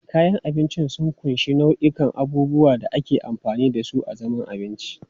Kayan abinci sun ƙunshi nau'ikan abubuwan da ake amfani da su a zaman abinci.